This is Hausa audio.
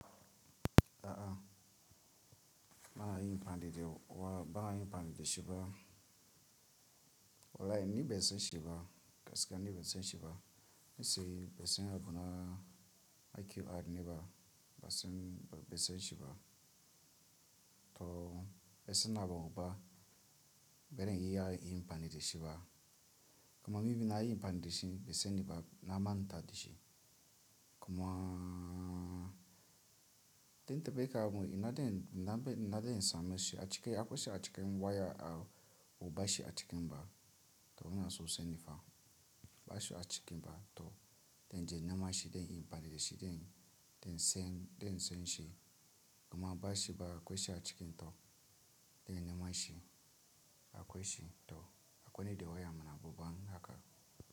A'a ba a yi amfani da wa ba a yi amfani de shi ba. Wallahoni be sen shi ba, gaskiya ni be sen shi ba. Me se be sen habu na a ke ad ne ba, ba sen be sen shi ba. To be sen na babu ba, beren i yayi amfani de shi ba. Kuma mi bi na yi amfani de shi be sen ni ba na manta da shi. Kuma tin ta be ka mu ina den ina be ina den sa me shi a cike akwai shi a cikin waya a ubashi a cikin ba to ina so sen ni fa bashi a cikin ba to den je nema shi den yi ampani de shi den den sen den sen shi. Kuma bashi ba akwai shi a cikin to den nema shi akwai shi to akwai ni da waya mana babban haka.